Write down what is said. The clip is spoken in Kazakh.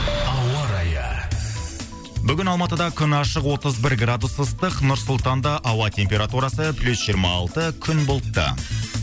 ауа райы бүгін алматыда күн ашық отыз бір градус ыстық нұр сұлтанда ауа температурасы плюс жиырма алты күн бұлтты